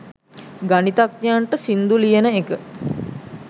ගණිතඥයන්ට සිංදු ලියන එක